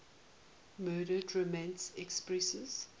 murdered roman empresses